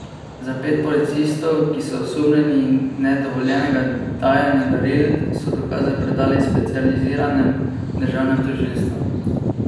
Za pet policistov, ki so osumljeni nedovoljenega dajanja daril, so dokaze predali specializiranem državnem tožilstvu.